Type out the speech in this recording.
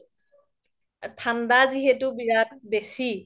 ঠাণ্ডা যিহেতু বিৰাত বেছি